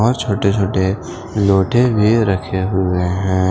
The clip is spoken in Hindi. और छोटे छोटे लोटे भी रखे हुए हैं।